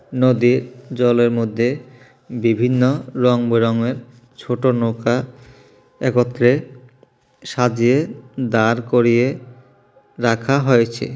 নদীর জলের মধ্যে বিভিন্ন রংবেরঙের ছোট নৌকা একত্রে সাজিয়ে দাঁড় করিয়ে রাখা হয়েছে।